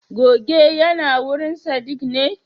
goge yinawurin sadiq ne?